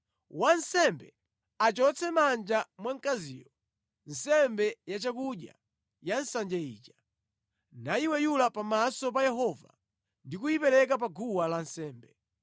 Wansembe achotse mʼmanja mwa mkaziyo nsembe yachakudya ya nsanje ija, nayiweyula pamaso pa Yehova ndi kuyipereka pa guwa lansembe.